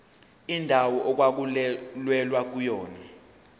indawo okwakulwelwa kuyona